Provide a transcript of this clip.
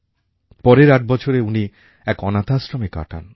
পরের আট বছর উনি এক অনাথাশ্রমে কাটান